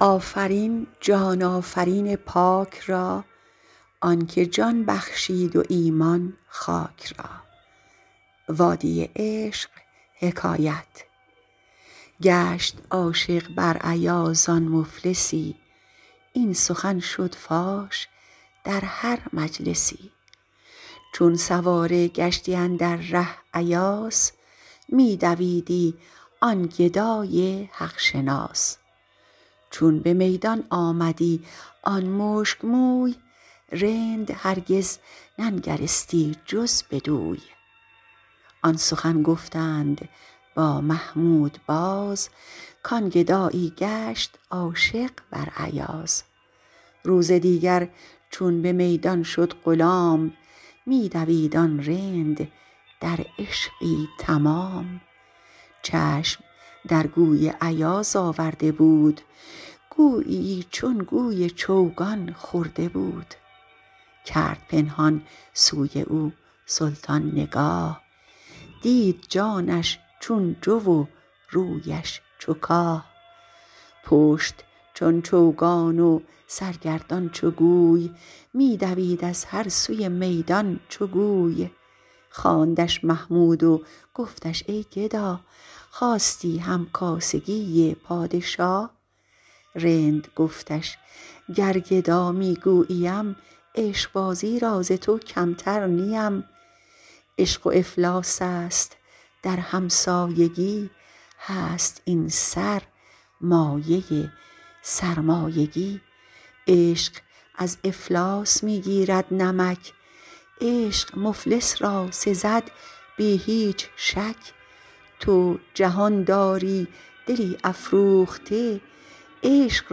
گشت عاشق بر ایاز آن مفلسی این سخن شد فاش در هر مجلسی چون سواره گشتی اندر ره ایاس می دویدی آن گدای حق شناس چون به میدان آمدی آن مشک موی رند هرگز ننگرستی جز بگوی آن سخن گفتند با محمود باز کان گدایی گشت عاشق بر ایاز روزدیگر چون به میدان شد غلام می دوید آن رند در عشقی تمام چشم درگوی ایاز آورده بود گوییی چون گوی چوگان خورده بود کرد پنهان سوی او سلطان نگاه دید جانش چون جو و رویش چو کاه پشت چون چوگان و سرگردان چو گوی می دوید از هر سوی میدان چو گوی خواندش محمود و گفتش ای گدا خواستی هم کاسگی پادشاه رند گفتش گر گدا می گوییم عشق بازی را ز تو کمتر نیم عشق و افلاس است در هم سایگی هست این سر مایه سرمایگی عشق از افلاس می گیرد نمک عشق مفلس را سزد بی هیچ شک تو جهان داری دلی افروخته عشق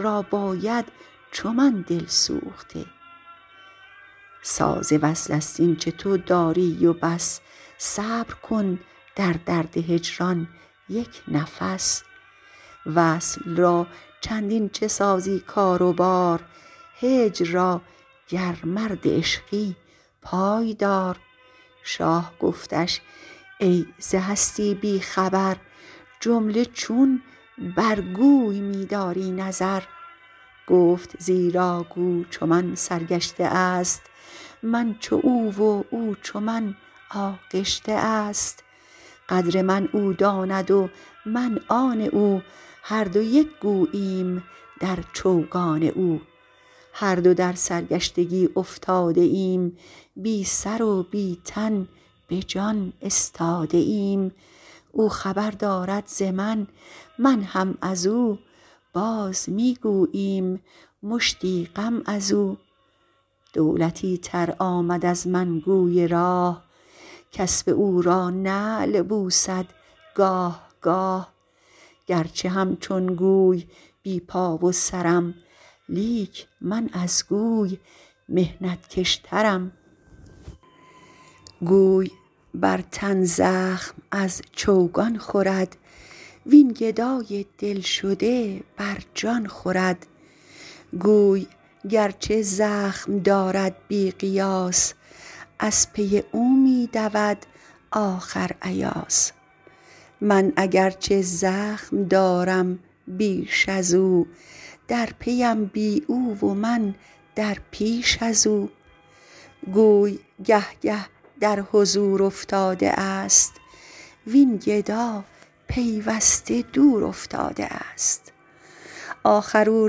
را باید چو من دل سوخته ساز وصل است اینچ تو داری و بس صبر کن در درد هجران یک نفس وصل را چندین چه سازی کار و بار هجر را گر مرد عشقی پای دار شاه گفتش ای ز هستی بی خبر جمله چون برگوی می داری نظر گفت زیرا گو چو من سرگشته است من چو او و او چو من آغشته است قدر من او داند و من آن او هر دو یک گوییم در چوگان او هر دو در سرگشتگی افتاده ایم بی سرو بی تن به جان استاده ایم او خبر دارد ز من من هم ازو باز می گوییم مشتی غم ازو دولتی تر آمد از من گوی راه کاسب او را نعل بوسد گاه گاه گرچه همچون گوی بی پا و سرم لیک من از گوی محنت کش ترم گوی برتن زخم از چوگان خورد وین گدای دل شده بر جان خورد گوی گرچه زخم دارد بی قیاس از پی او می دود آخر ایاس من اگر چه زخم دارم بیش ازو درپیم بی او و من در پیش ازو گوی گه گه در حضور افتاده است وین گدا پیوسته دور افتاده است آخر او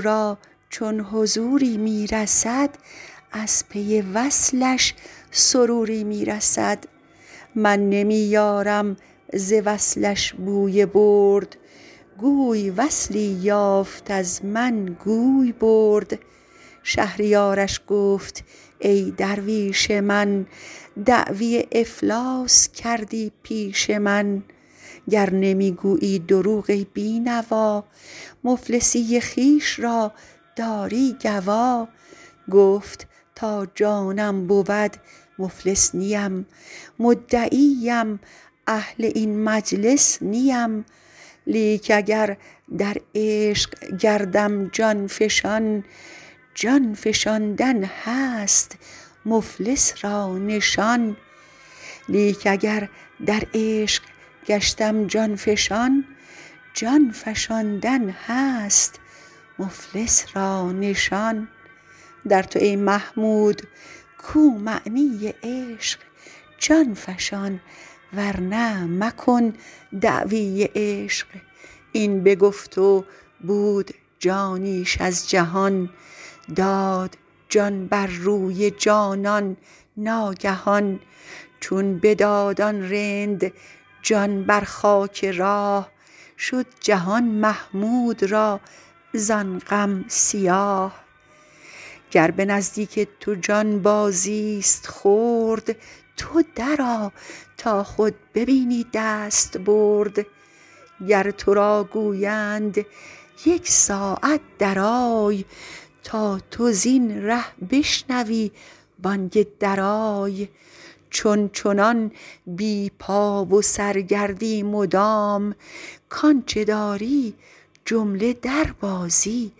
را چون حضوری می رسد از پی وصلش سروری می رسد من نمی یارم ز وصلش بوی برد گوی وصلی یافت و از من گوی برد شهریارش گفت ای درویش من دعوی افلاس کردی پیش من گر نمی گویی دروغ ای بی نوا مفلسی خویش را داری گوا گفت تا جان من بود مفلس نیم مدعی ام اهل این مجلس نیم لیک اگر در عشق گردم جان فشان جان فشاندن هست مفلس را نشان در تو ای محمود کو معنی عشق جان فشان ورنه مکن دعوی عشق این بگفت و بود جانیش از جهان داد جان بر روی جانان ناگهان چون بداد آن رند جان بر خاک راه شد جهان محمود را زان غم سیاه گر به نزدیک تو جان بازیست خرد تو درآ تا خود ببینی دست برد گر ترا گویند یک ساعت درآی تا تو زین ره بشنوی بانگ درای چون چنان بی پا و سرگردی مدام کانچ داری جمله در بازی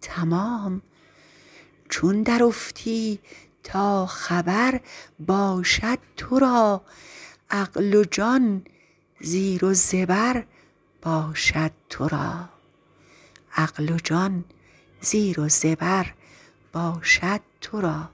تمام چون درافتی تا خبر باشد ترا عقل و جان زیر و زبر باشد ترا